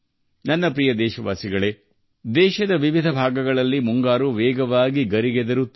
ನನ್ನ ಪ್ರೀತಿಯ ದೇಶವಾಸಿಗಳೆ ದೇಶದ ವಿವಿಧ ಭಾಗಗಳಲ್ಲಿ ಮುಂಗಾರು ತನ್ನ ವರ್ಣಗಳನ್ನು ವೇಗವಾಗಿ ಹರಡುತ್ತಿದೆ